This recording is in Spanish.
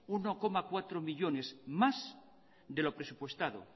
uno coma cuatro millónes más de lo presupuestado